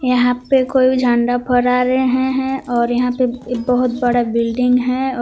यहां पे कोई झंडा फहरा रहे हैं और यहां पे बहुत बड़ा बिल्डिंग है और--